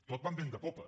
tot va amb vent de popa